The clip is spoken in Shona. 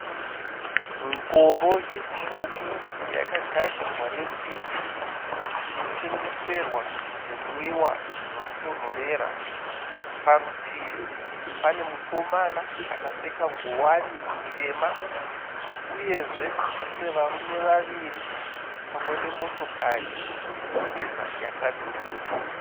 Ngoro itsvuku yakagadzirwa nesimbi inotengeserwa zvimwiwa zvinotonhorera. Parutivi pane mukomana akapfeka nguvani itema uyezve kune varume wawiri pamwe ne motokari yesirivha yakamira